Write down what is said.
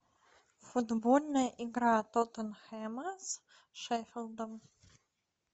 футбольная игра тоттенхэма с шеффилдом